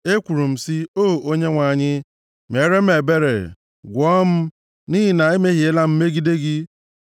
Ekwuru m sị, “O Onyenwe anyị, meere m ebere; gwọọ m, nʼihi na emehiela m megide gị.”